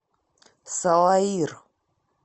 салаир